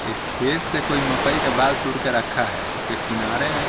एक खेत से कोई मकई के बल तुड के रखा है उसके किनारे--